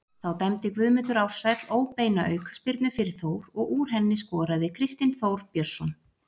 Þá dæmdi Guðmundur Ársæll óbeina aukaspyrnu fyrir Þór og úr henni skoraði Kristinn Þór Björnsson.